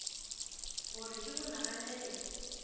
go re ke go naganele